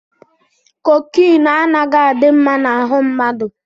Kokine anaghị adị mma na ahụ mmadụ.